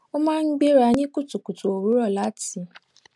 ó máa ń gbéra ní kùtùkùtù òwúrò láti